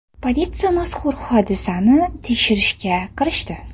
Politsiya mazkur hodisani tekshirishga kirishdi.